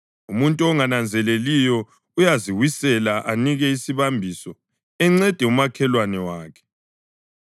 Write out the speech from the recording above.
Umuntu ongananzeleliyo uyaziwisela anike isibambiso enceda umakhelwane wakhe.